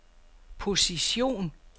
position